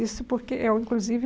Isso porque eu, inclusive...